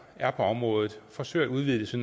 er på området forsøger at udvide det så